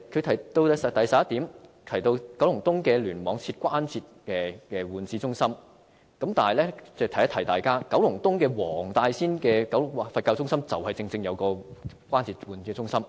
他在第點提到在九龍東聯網設立關節置換中心，但我要提醒大家，九龍東黃大仙的佛教醫院正正設有關節置換中心。